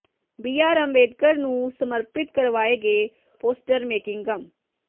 BR Ambedkar ਨੂੰ ਸਮਰਪਿਤ ਕਰਵਾਏ ਗਏ ਪੋਸਟਰ ਮੇਕਿੰਗ ਮ